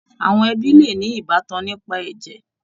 Àwọn ẹbí le ní ìbátan nípa ẹ̀jẹ̀.